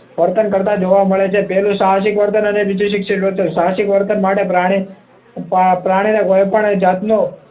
વર્તન કરતા જોવે મળે છે પહેલું સાહસિક વર્તન અને બીજું શિક્ષિત વર્તન સાહસિક વર્તન માટે પ્રાણી પ્રાણીને કોઈપણ જાતનો